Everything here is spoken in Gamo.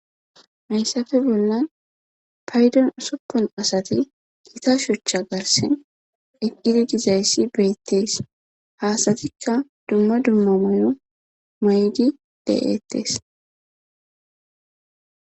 Mayssafe bollan paydon usoppon asati giita shuchcha garsen eqqidi gizayssi beettees haasatikka dumma dumma mayo maydi de7eettes.